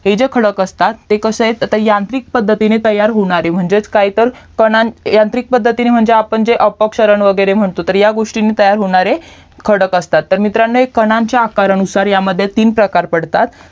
हे जे खडक असतात ते कसे आहेत यांत्रिक पद्धतीने तयार होणारी म्हणजेच काय तर यांत्रिक पद्धतीने म्हणजेच अपक्षरन वगेरे म्हणतो तर ह्या गोस्टी ने तयार होणारे खडक असतात तर मित्रांनो हे कानन च्या आकारमध्ये तर ह्यामध्ये तीन प्रकार पडतात